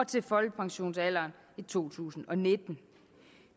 til folkpensionsalderen i to tusind og nitten